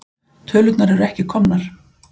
Tölurnar eru ekki komnar.